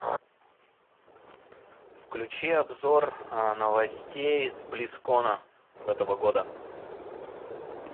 включи обзор новостей с близкона этого года